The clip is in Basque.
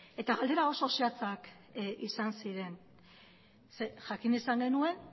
eta galderak oso zehatzak izan ziren ze jakin izan genuen